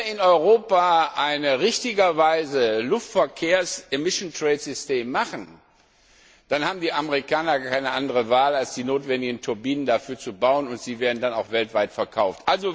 Wenn wir in Europa richtigerweise ein Luftverkehrsemissionshandelssystem machen, dann haben die Amerikaner keine andere Wahl, als die notwendigen Turbinen dafür zu bauen, und die werden dann auch weltweit verkauft.